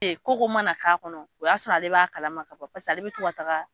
ko ko mana k'a kɔnɔ o y'a sɔrɔ ale b'a kalama ka ban pase ale bɛ to ka taga